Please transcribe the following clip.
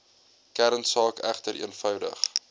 kernsaak egter eenvoudig